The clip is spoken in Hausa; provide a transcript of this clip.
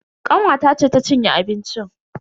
Kanwata ce ta cinye abincin.